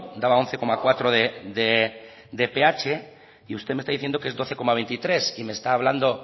daba once coma cuatro de ph y usted me está diciendo que es doce coma veintitrés y me está hablando